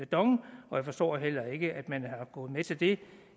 dong og jeg forstår heller ikke at man er gået med til det